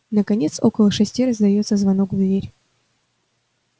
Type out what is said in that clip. наконец около шести раздаётся звонок в дверь